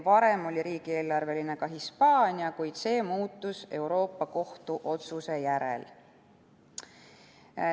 Varem oli riigieelarveline ka Hispaania, kuid see muutus Euroopa Kohtu otsuse järel.